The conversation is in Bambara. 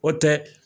O tɛ